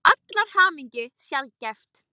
Það er til allrar hamingju sjaldgæft.